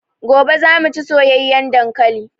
Gobe zamu chi soyayan dankalin